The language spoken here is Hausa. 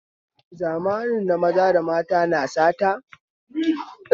Zamanin na maza da mata na sata